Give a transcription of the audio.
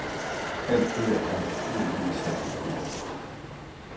Alt dette er naturligvis sat på spidsen.